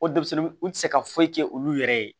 O denmisɛnnin u ti se ka foyi kɛ olu yɛrɛ ye